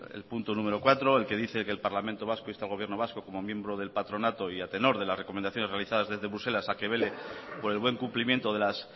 el punto número cuatro el que dice que el parlamento vasco insta al gobierno vasco como miembro del patronato y a tenor de las recomendaciones realizadas desde bruselas a que vele por el buen cumplimiento de las